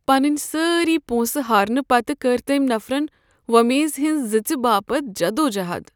پنن سٲری پونسہٕ ہارنہٕ پتہٕ کٔر تٔمہِ نفرن وۄمیز ہٕنٛز زٕژِ باپت جدوجہد۔